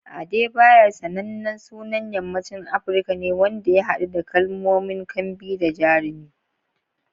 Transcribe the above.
Adebayor sanannen sunan yammacin Afirka ne wanda ya haɗu da kalmomin "kambi" da "jarumi."